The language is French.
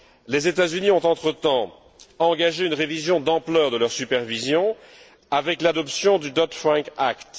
Les États Unis ont entre temps engagé une révision d'ampleur de leur supervision avec l'adoption du Dodd Frank Act.